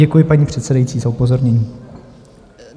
Děkuji paní předsedající za upozornění.